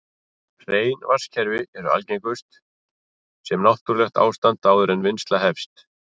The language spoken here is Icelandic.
Hrein vatnskerfi eru algengust sem náttúrlegt ástand áður en vinnsla hefst.